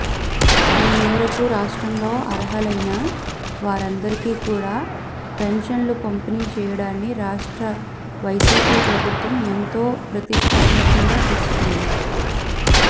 ఈ మేరకు రాష్ట్రంలో అర్హులైన వారందరికీ కూడా పెన్షన్లను పంపిణీ చేయడాన్ని రాష్ట్ర వైసీపీ ప్రభుత్వం ఎంతో ప్రతిష్టాత్మకంగా తీసుకుంది